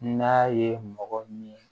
N'a ye mɔgɔ min ye